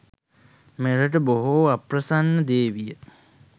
මෙරට බොහෝ අප්‍රසන්න දේ විය